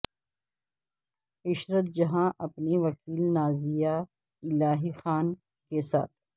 عشرت جہاں اپنی وکیل نازیہ الہی خان کے ساتھ